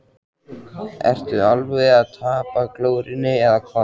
Ertu alveg að tapa glórunni eða hvað!